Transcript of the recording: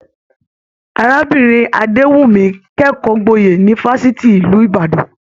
Arábìnrin Adewumi kẹkọọ gboye ni fafiti ìlú Ìbàdàn.